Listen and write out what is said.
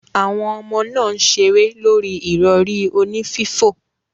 Awon omo naa n sere lori irori oni fifo.